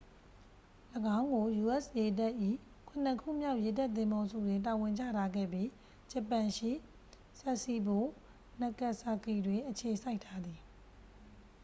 ၎င်းကို u.s. ရေတပ်၏ ခုနစ်ခုမြောက် ရေတပ်သင်္ဘောစုတွင် တာဝန်ချထားခဲ့ပြီး ဂျပန်ရှိ sasebo nagasaki တွင် အခြေစိုက်ထားသည်